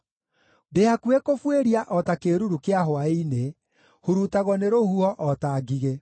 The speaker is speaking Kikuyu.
Ndĩ hakuhĩ kũbuĩria o ta kĩĩruru kĩa hwaĩ-inĩ; hurutagwo nĩ rũhuho o ta ngigĩ.